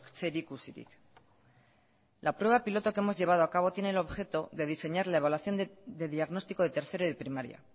zerikusirik la prueba piloto que hemos llevado acabo tiene el objeto de diseñar la evaluación de diagnóstico de tercero de primaria